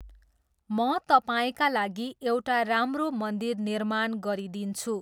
म तपाईँका लागि एउटा राम्रो मन्दिर निर्माण गरिदिन्छु।